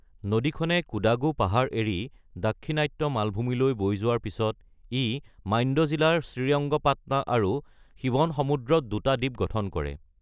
নদীখনে কোডাগু পাহাৰ এৰি দাক্ষিণাত্য মালভূমিলৈ বৈ যোৱাৰ পিছত, ই মাণ্ড্য জিলাৰ শ্ৰীৰংগপাটনা আৰু শিৱনসমুদ্ৰত দুটা দ্বীপ গঠন কৰে।